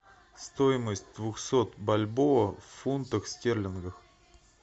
стоимость двухсот бальбоа в фунтах стерлингов